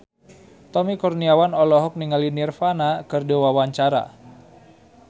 Tommy Kurniawan olohok ningali Nirvana keur diwawancara